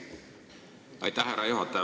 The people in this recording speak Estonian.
Aitäh, härra juhataja!